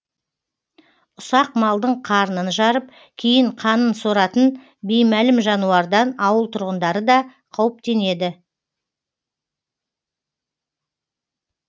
ұсақ малдың қарнын жарып кейін қанын соратын беймәлім жануардан ауыл тұрғындары да қауіптенеді